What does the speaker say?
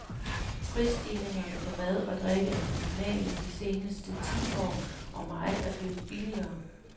Prisstigningerne på mad og drikke er minimale de seneste ti år, og meget er blevet billigere.